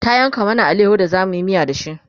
ta yanka mana alayaho da zamuyi miya da shi